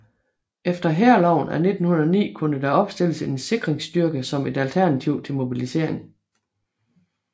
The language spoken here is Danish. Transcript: Efter Hærloven af 1909 kunne der opstilles en sikringsstyrke som et alternativ til mobilisering